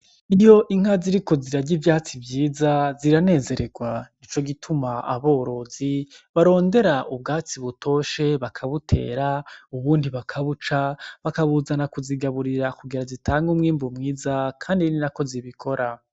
Iyo inka ziriko zirarya ivyatsi vyiza ziranezeregwa nicogituma aborozi barondera ubwatsi butoshe bakabutera ubundi bakubaca bakabuzana kuzigaburira kugira zitange umwimbu mwiza kandi ninako zibikora.